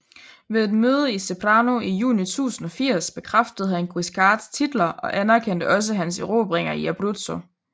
Ved et møde i Ceprano i juni 1080 bekræftede han Guiscards titler og anerkendte også hans erobringer i Abruzzo